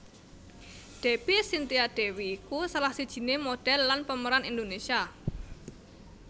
Debby Cynthia Dewi iku salah sijiné modhél lan pemeran Indonesia